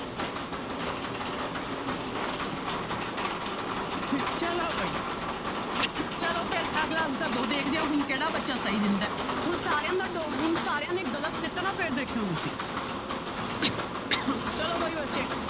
ਚਲੋ ਬਾਈ ਚਲੋ ਫਿਰ ਅਗਲਾ answer ਦਿਓ ਦੇਖਦੇ ਹਾਂ ਹੁਣ ਕਿਹੜਾ ਬੱਚਾ ਸਹੀ ਦਿੰਦਾ ਹੈ ਹੁਣ ਸਾਰਿਆਂ ਦਾ ਡੋ~ ਹੁਣ ਸਾਰਿਆਂ ਨੇ ਗ਼ਲਤ ਦਿੱਤਾ ਨਾ ਫਿਰ ਦੇਖਿਓ ਤੁਸੀਂ ਚਲੋ ਬਾਈ ਬੱਚੇ।